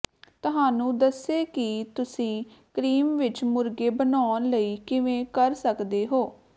ਤੁਹਾਨੂੰ ਦੱਸੇ ਕਿ ਤੁਸੀਂ ਕ੍ਰੀਮ ਵਿਚ ਮੁਰਗੇ ਬਣਾਉਣ ਲਈ ਕਿਵੇਂ ਕਰ ਸਕਦੇ ਹੋ